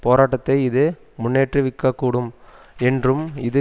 போராட்டத்தை இது முன்னேற்றுவிக்கக்கூடும் என்றும் இது